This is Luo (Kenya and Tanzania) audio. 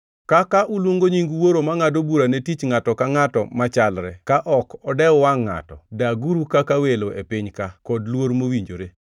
Kaka uluongo nying Wuoro mangʼado bura ne tich ngʼato ka ngʼato machalre ka ok odew wangʼ ngʼato, daguru kaka welo e piny-ka, kod luor mowinjore.